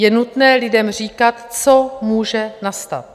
Je nutné lidem říkat, co může nastat.